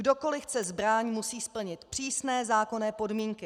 Kdokoliv chce zbraň, musí splnit přísné zákonné podmínky.